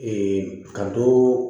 ka dɔ